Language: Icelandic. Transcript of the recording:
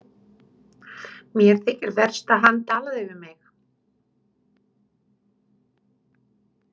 Mér þykir verst að hann talaði við mig.